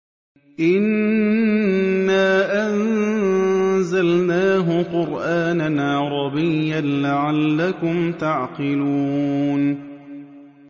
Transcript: إِنَّا أَنزَلْنَاهُ قُرْآنًا عَرَبِيًّا لَّعَلَّكُمْ تَعْقِلُونَ